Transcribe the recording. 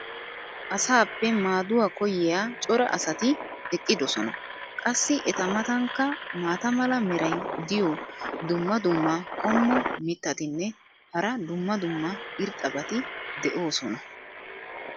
Asaappe maaduwa koyiya cora asati eqqidosona. qassi eta matankka maata mala meray diyo dumma dumma qommo mitattinne hara dumma dumma irxxabati de'oosona.